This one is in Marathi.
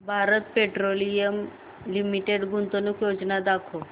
भारत पेट्रोलियम लिमिटेड गुंतवणूक योजना दाखव